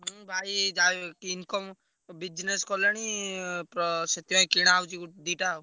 ହଁ ଭାଇ ଯାହାବି ହଉ income, business କଲେଣି ପ ସେଥିପାଇଁ କିଣାହଉଛି ଗୋ~ ଦିଟା ଆଉ।